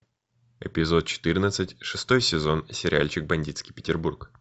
эпизод четырнадцать шестой сезон сериальчик бандитский петербург